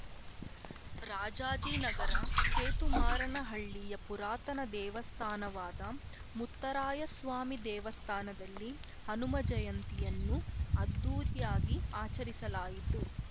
ರಾಜಾಜಿನಗರ ಕೇತುಮಾರನಹಳ್ಳಿಯ ಪುರಾತನ ದೇವಸ್ಥಾನವಾದ ಮುತ್ತರಾಯ ಸ್ವಾಮಿ ದೇವಸ್ಥಾನದಲ್ಲಿ ಹನುಮಜಯಂತಿಯನ್ನು ಅದ್ಧೂರಿಯಾಗಿ ಆಚರಿಸಲಾಯಿತು